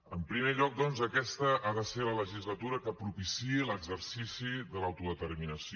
en primer lloc doncs aquesta ha de ser la legislatura que propiciï l’exercici de l’autodeterminació